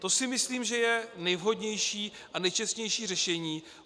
To si myslím, že je nejvhodnější a nejčestnější řešení.